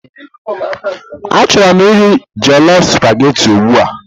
Achọrọ m iri jollof supagetii ugbu a.